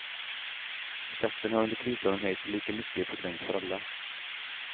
Skatten har under krisåren höjts lika mycket i procent för alla.